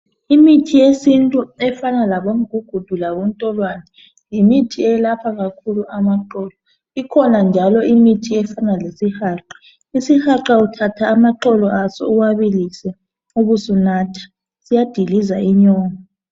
Imithi yesintu efana labomgugudu labontolwane yimithi eyelapha kakhulu amaqolo ikhona njalo imithi efana lesihaqa isihaqa uthatha amaxolo aso uwabilise ubusunatha siyadiliza inyongo.